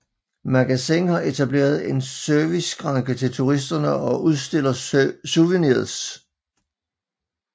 Magasin har etableret en serviceskranke til turisterne og udstiller souvenirs